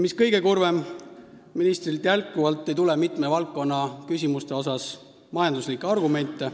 Mis kõige kurvem, ministrilt ei kuule me jätkuvalt mitme valdkonna küsimuste kohta majanduslikke argumente.